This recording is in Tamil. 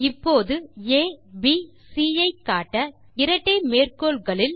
இப்போது ஏபிசி ஐ காட்ட இரட்டை மேற்கோள்களுள்